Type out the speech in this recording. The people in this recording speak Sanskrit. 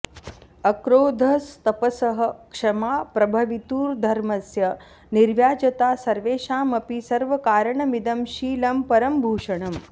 अक्रोधस्तपसः क्षमा प्रभवितुर्धर्मस्य निर्व्याजता सर्वेषामपि सर्वकारणमिदं शीलं परं भूषणम्